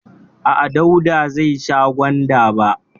A'a, Dauda zai sha gwanda ba.